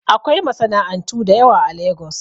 Akwai masana'antu da yawa a Lagos